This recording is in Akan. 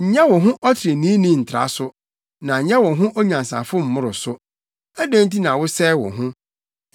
Nyɛ wo ho ɔtreneeni ntra so, na nyɛ wo ho onyansafo mmoro so; adɛn nti na wosɛe wo ho?